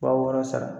Wa wɔɔrɔ sara